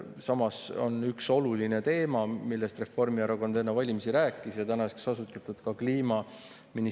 Samas on üks oluline teema, millest Reformierakond enne valimisi rääkis, kliimaministeerium, mis on tänaseks ka asutatud.